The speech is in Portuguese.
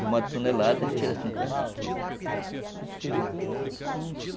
De uma tonelada, a gente tira cinquenta quilos.